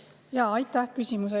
Aitäh küsimuse eest!